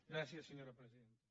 gràcies senyora presidenta